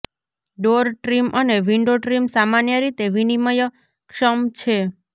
door trim અને window trim સામાન્ય રીતે વિનિમયક્ષમ છે